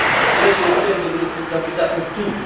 Questo è il tempo della responsabilità per tutti.